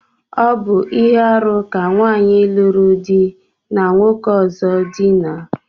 Ọ bu ihe-árú ka nwanyi luru di ya na nwoke ọzọ dina.